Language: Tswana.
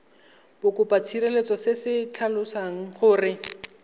bokopatshireletso se se tlhalosang gore